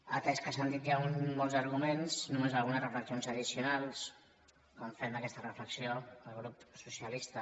atès que s’han dit ja molts arguments només algunes reflexions addicionals quan fem aquesta reflexió al grup socialista